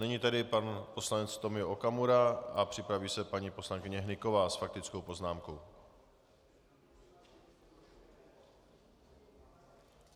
Nyní tedy pan poslanec Tomio Okamura a připraví se paní poslankyně Hnyková s faktickou poznámkou.